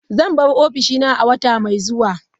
Zan bar ofishin a wata mai zuwa.